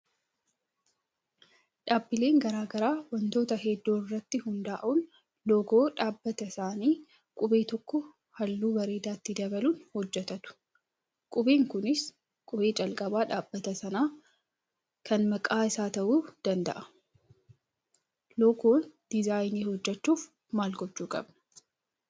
Dhaabbileen garaagaraa wantoota hedduu irratti hundaa'uun loogoo dhaabbata isaanii qubee tokko halluu bareedaa itti dabaluun hojjatatu. Qubeen Kunis qubee calqabaa dhaabbata sanaa kan maqaa isaa ta'uu danda'a. Loogoo diizaayinii hojjachuuf maal gochuu qabna?